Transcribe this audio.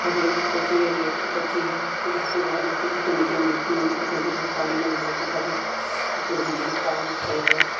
Rail के पटरी rail के पटरी ह लोहा-लोहा दिखत हे नीचे मे गिट्टी मन दिखत हे देखें म पानी मन घलोक दिखत हे आऊ पूरा बिजली के तार मन खड़ी हावय।